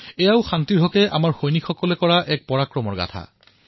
এয়াও শান্তিৰ দিশৰ আমাৰ সৈনিকৰ দ্বাৰা সমাপন হোৱা এক পৰাক্ৰম আছিল